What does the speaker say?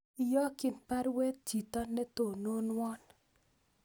Iyokyin baruet chito netononwon